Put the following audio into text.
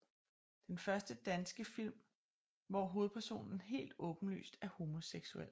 Den første danske film hvor hovedpersonen helt åbenlyst er homoseksuel